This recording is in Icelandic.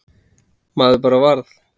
Maður bara varð